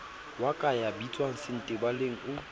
wa ka ya bitswangsentebaleng o